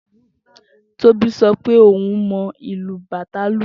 Tobi sọ pé ohun mọ ìlù bàtá lu